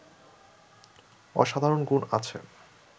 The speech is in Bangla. অসাধারণ গুণ আছে